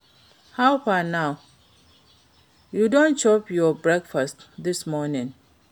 How far now? You don chop your breakfast this morning?